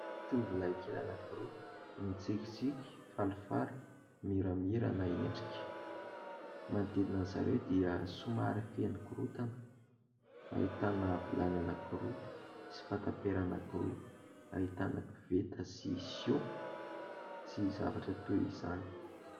Tovolahy kely anankiroa no mitikitsiky, falifaly, miramirana endrika. Manodidina izy ireo dia somary feno korontana, ahitana vilany anakiroa sy fatapera anankiroa, ahitana koveta sy siô, sy zavatra toy izany.